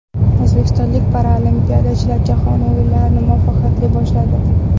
O‘zbekistonlik paralimpiyachilar Jahon o‘yinlarini muvaffaqiyatli boshladi.